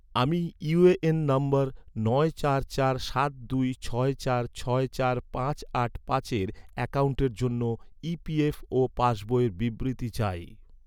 আমি ইউএএন নম্বর নয় চার চার সাত দুই ছয় চার ছয় চার পাঁচ আট পাঁচের অ্যাকাউন্টের জন্য ই.পি.এফ.ও ​পাসবইয়ের বিবৃতি চাই